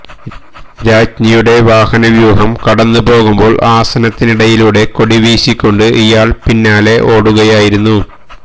രാജ്ഞിയുടെ വാഹനവ്യൂഹം കടന്നുപോകുമ്പോള് ആസനത്തിനിടയിലൂടെ കൊടി വീശിക്കൊണ്ട് ഇയാള് പിന്നാലെ ഓടുകയായിരുന്നു